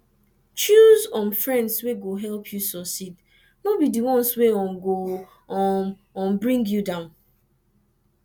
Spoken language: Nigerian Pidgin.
choose um friends wey go help you suceed no be di ones wey um go um um bring you down